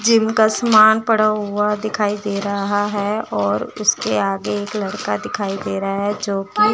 जिनका सामान पड़ा हुआ दिखाई दे रहा है और उसके आगे एक लड़का दिखाई दे रहा है जो कि--